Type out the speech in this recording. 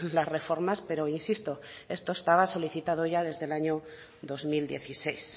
las reformas pero insisto esto estaba solicitado ya desde el año dos mil dieciséis